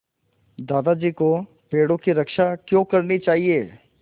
दादाजी को पेड़ों की रक्षा क्यों करनी चाहिए